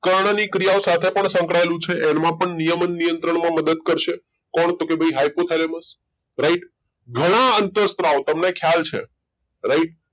કણની ક્રિયાઓ સાથે પણ સંકળાયેલું છે એમાં પણ નિયમન નિયંત્રણમાં મદદ કરશે કોણ તો કે ભાઈ hypothalamusright ઘણા અંતઃસ્ત્રાવો તમને ખ્યાલ છે right